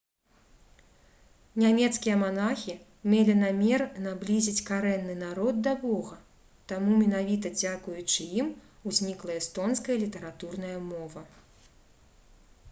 нямецкія манахі мелі намер наблізіць карэнны народ да бога таму менавіта дзякуючы ім узнікла эстонская літаратурная мова